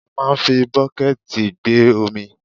A máà ń fi bọ́kẹ̀ẹ̀tì gbé omi.